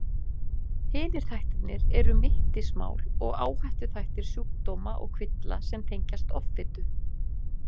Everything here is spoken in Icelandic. Hinir þættirnir eru mittismál og áhættuþættir sjúkdóma og kvilla sem tengjast offitu.